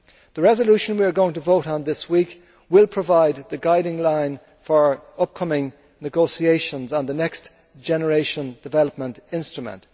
The resolution we are going to vote on this week will provide the guiding line for upcoming negotiations on the next generation development instrument.